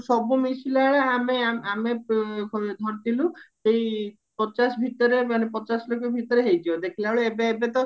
ଅସବୁ ମିଶିଳା ବେଳେ ଆମେ ଆମେ ଧରିଥିଲୁ ସେଇ ପଚାଶ ଭିତରେ ମାନେ ପଚାଶ ଲକ୍ଷ ଭିତରେ ହେଇଯିବା ଦେଖିଲାବେଳକୁ ଏବେ ଏବେ ତ